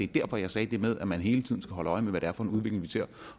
derfor jeg sagde det med at man hele tiden skal holde øje med hvad det er for en udvikling vi ser